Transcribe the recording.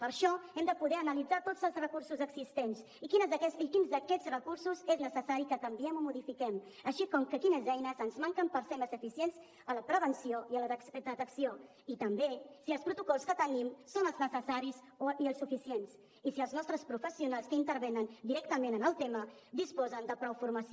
per això hem de poder analitzar tots els recursos existents i quins d’aquests recursos és necessari que canviem i modifiquem així com quines eines ens manquen per ser més eficients en la prevenció i en la detecció i també si els protocols que tenim són els necessaris i els suficients i si els nostres professionals que intervenen directament en el tema disposen de prou formació